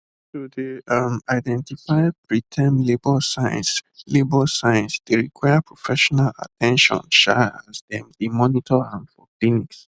to dey um identify preterm labour signs labour signs dey require professional at ten tion um as dem dey monitor am for clinics